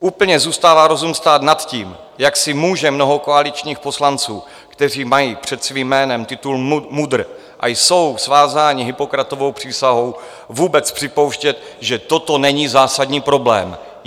Úplně zůstává rozum stát nad tím, jak si může mnoho koaličních poslanců, kteří mají před svým jménem titul MUDr. a jsou vázáni Hippokratovou přísahou, vůbec připouštět, že toto není zásadní problém.